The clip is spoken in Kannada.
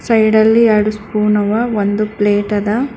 ಸೈಡ್ ಅಲ್ಲಿ ಯಾಡು ಸ್ಫೂನು ಆವ ಒಂದು ಪ್ಲೇಟ್ ಅದ.